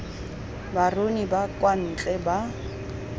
baruni ba kwa ntle ba